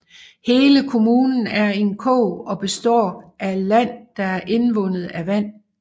Hele kommunen er en kog og består af land der er indvundet fra vand